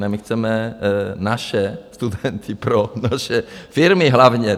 Ne, my chceme naše studenty pro naše firmy hlavně.